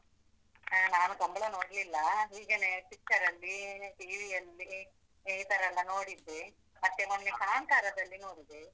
ಹಾ ನಾನು ಕಂಬ್ಳ ನೋಡ್ಲಿಲ್ಲ, ಹೀಗೇನೆ picture ರಲ್ಲೀ, TV ಯಲ್ಲಿ ಈ ತರಾ ಎಲ್ಲಾ ನೋಡಿದ್ದೆ, ಮತ್ತೆ ಮೊನ್ನೆ ಕಾಂತಾರದಲ್ಲಿ ನೋಡಿದೆ.